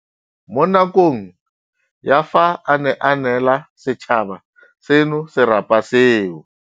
Mo nakong ya fa a ne a neela setšhaba seno serapa seo.